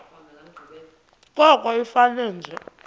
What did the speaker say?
koko ifane nje